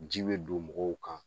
Ji be don mɔgɔw kan.